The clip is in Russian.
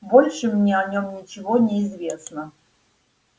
больше мне о нём ничего не известно